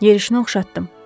Yerişinə oxşatdım.